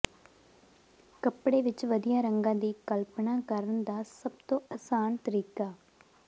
ਕੱਪੜੇ ਵਿਚ ਵਧੀਆ ਰੰਗਾਂ ਦੀ ਕਲਪਨਾ ਕਰਨ ਦਾ ਸਭ ਤੋਂ ਆਸਾਨ ਤਰੀਕਾ